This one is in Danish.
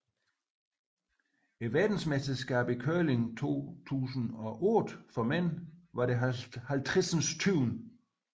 Verdensmesterskabet i curling 2008 for mænd var det 50